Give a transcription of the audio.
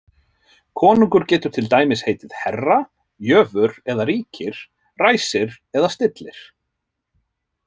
Konungur getur til dæmis heitið herra, jöfur eða ríkir, ræsir eða stillir.